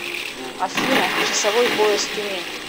афина часовой пояс тюмень